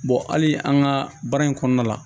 hali an ka baara in kɔnɔna la